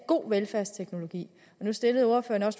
god velfærdsteknologi nu stillede ordføreren